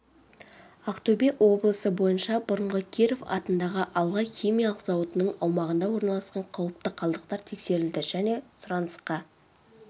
ақтөбе облысы бойынша бұрынғы киров атындағы алға химиялық зауытының аумағында орналасқан қауіпті қалдықтар тексерілді және сұранысқа